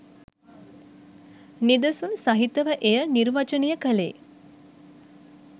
නිදසුන් සහිතව එය නිර්වචනය කළේ